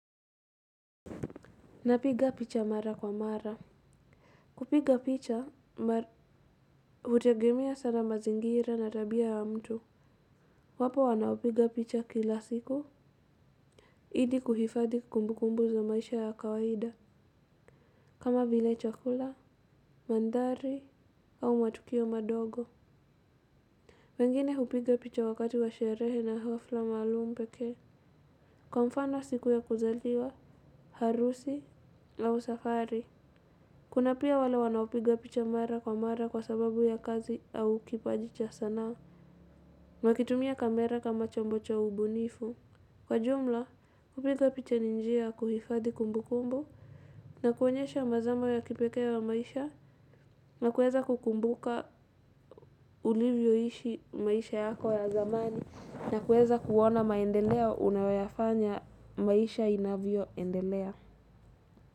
Napiga picha mara kwa mara. Kupiga picha, hutegemea sana mazingira na tabia ya mtu. Wapo wanaopiga picha kila siku ili kuhifadhi kumbukumbu za maisha ya kawaida kama vile chakula, mandhari au matukio madogo. Wengine hupiga picha wakati wa sherehe na hafla maalum pekee kwa mfano siku ya kuzaliwa, harusi, au safari. Kuna pia wale wanaopiga picha mara kwa mara kwa sababu ya kazi au kipaji cha sanaa. Wakitumia kamera kama chombo cha ubunifu. Kwa jumla, kupiga picha ni njia kuhifadhi kumbukumbu, na kuonyesha mazamo ya kipekee ya maisha, na kuweza kukumbuka ulivyoishi maisha yako ya zamani, na kuweza kuona maendeleo unayoyafanya maisha inavyoendelea.